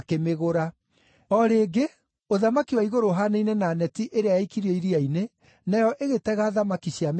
“O rĩngĩ, ũthamaki wa igũrũ ũhaanaine na neti ĩrĩa yaikirio iria-inĩ, nayo ĩgĩtega thamaki cia mĩthemba yothe.